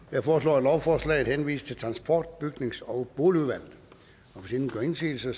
jeg foreslår at lovforslaget henvises til transport bygnings og boligudvalget hvis ingen gør indsigelse